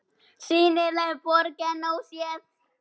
SÝNILEG BORG EN ÓSÉÐ